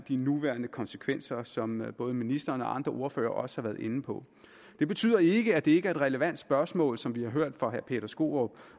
de nuværende konsekvenser som både ministeren og andre ordførere også har været inde på det betyder ikke at det ikke er et relevant spørgsmål som vi har hørt fra herre peter skaarup